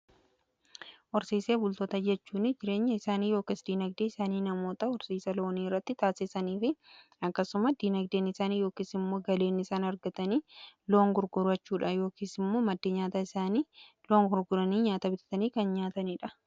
Horsiisee bultoota jechuun jireenya isaanii yookiin diinagdeen isaanii namoota horsiisa loonii irratti taasisanii fi akkasuma diinagdeen isaanii yookiin immoo galiin isaan argatanii loon gurgurachuudha. Yookiin immoo maddee nyaataa isaanii loon gurguranii nyaataa bitatanii kan nyaataniidha.